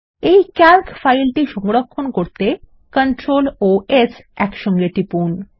এই ক্যালক ফাইলটি সংরক্ষণ করতে Ctrl ও S একসঙ্গে টিপুন